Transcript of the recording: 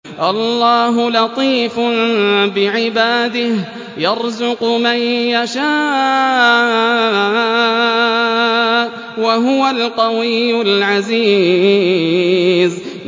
اللَّهُ لَطِيفٌ بِعِبَادِهِ يَرْزُقُ مَن يَشَاءُ ۖ وَهُوَ الْقَوِيُّ الْعَزِيزُ